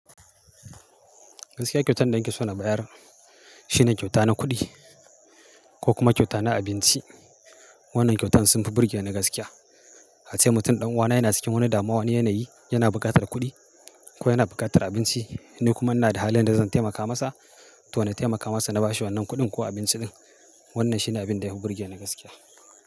Gaskiya kyautan da nake so na bayar shine kyauta na kuɗi ko kuma kyauta na abinci. Wannan kyautan sun fi burge ni gaskiya. A ce mutum ɗan uwana yana cikin wani damuwa, wani yanayi yana buƙatar kuɗi ko yana buƙatar abinci ni kuma ina da halin da zan taimaka masa. To na taimaka masa na bashi wannan kuɗin ko abinci ɗin. Wannan shine abin da yafi burge ni gaskiya.